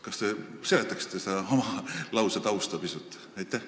Kas te seletaksite pisut oma lause tausta?